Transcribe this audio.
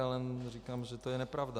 Já jenom říkám, že to je nepravda.